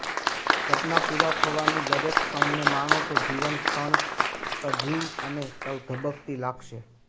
સપનાં પૂરાં થવાની દરેક ક્ષણને માણો તો દરેક ક્ષણ સજીવન અને ધબકતી લાગશે